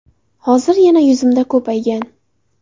Hozir yana yuzimda ko‘paygan.